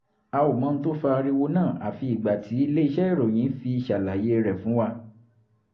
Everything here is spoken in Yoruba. a ò mọ ohun tó fa ariwo náà àfi ìgbà tí ilé-iṣẹ́ ìròyìn fi ṣàlàyé rẹ̀ fún wa